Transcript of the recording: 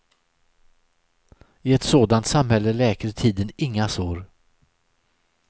I ett sådant samhälle läker tiden inga sår.